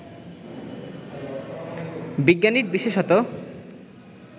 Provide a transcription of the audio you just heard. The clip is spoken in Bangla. বিজ্ঞানীর বিশেষত